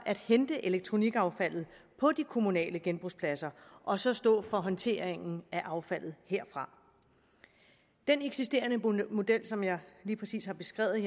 at hente elektronikaffaldet på de kommunale genbrugspladser og så stå for håndteringen af affaldet herfra den eksisterende model som jeg lige præcis har beskrevet